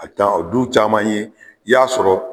A dan o dun caman ye i y'a sɔrɔ